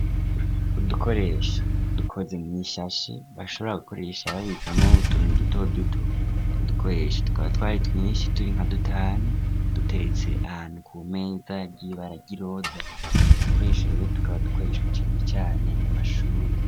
Udukoresha dukoze mwishashe bashobora gukoresha babikamwo utuntu duto duto utwo dukoresha tukaba twari twinshi turi nka dutanu, duteretse ahantu kumeza ryibara giroza udukoresharo tukaba dukoreshwa cane cane mu mashuri.